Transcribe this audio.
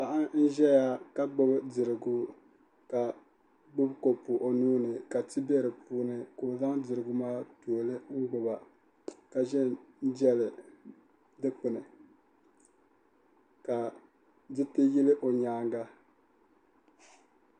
Paɣa n ʒɛya ka gbuni dirigu ka gbubi kopu o nuuni ka ti bɛ di puuni ka o zaŋ dirigu maa tooli n gbuba ka ʒɛ n jɛli dikpuni ka diriti yili o nyaanga